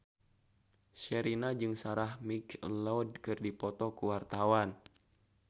Sherina jeung Sarah McLeod keur dipoto ku wartawan